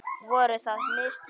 Voru það mistök?